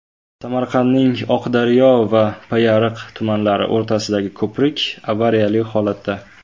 Samarqandning Oqdaryo va Payariq tumanlari o‘rtasidagi ko‘prik avariyali holatda.